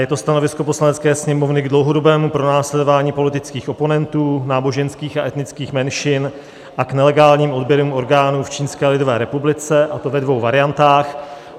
Je to Stanovisko Poslanecké sněmovny k dlouhodobému pronásledování politických oponentů, náboženských a etnických menšin a k nelegálním odběrům orgánů v Čínské lidové republice, a to ve dvou variantách.